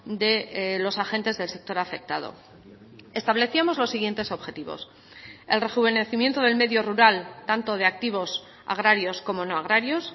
de los agentes del sector afectado establecíamos los siguientes objetivos el rejuvenecimiento del medio rural tanto de activos agrarios como no agrarios